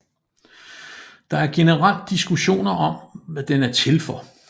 Der er generelt diskussioner om hvad den er til for